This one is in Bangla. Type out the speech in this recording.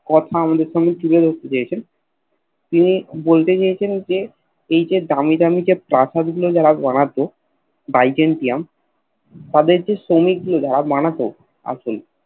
কথা আমাদের সামনে তুলে ধরতে চাইছেন তিনি বলতে চাইছেন যে এই যে দামী দামী প্রসাদ গুলো তার বানাত বাইজেন্টইউম তাদের কি শ্রমিক দিয়ে বানাত আসলে